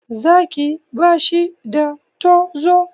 Zaki ba shi da tozo.